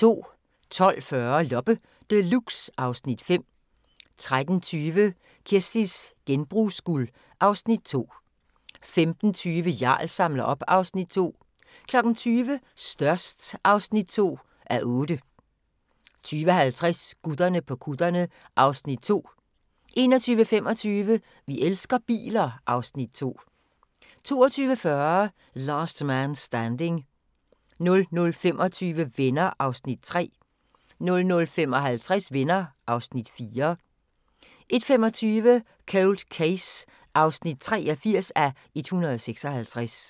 12:40: Loppe Deluxe (Afs. 5) 13:20: Kirsties genbrugsguld (Afs. 2) 15:20: Jarl samler op (Afs. 2) 20:00: Størst (2:8) 20:50: Gutterne på kutterne (Afs. 2) 21:25: Vi elsker biler (Afs. 2) 22:40: Last Man Standing 00:25: Venner (3:235) 00:55: Venner (4:235) 01:25: Cold Case (83:156)